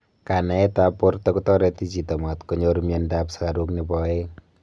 kanaet ap porta kotareti chito matkonyor mianda ap sugaruk nepo aeng